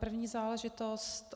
První záležitost.